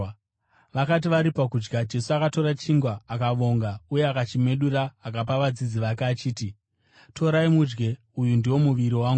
Vakati vari pakudya, Jesu akatora chingwa, akavonga uye akachimedura, akapa vadzidzi vake achiti, “Torai mudye, uyu ndiwo muviri wangu.”